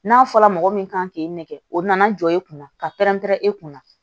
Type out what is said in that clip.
N'a fɔra mɔgɔ min kan k'i nɛgɛ o nana jɔ i kunna ka pɛrɛn-pɛrɛn e kunna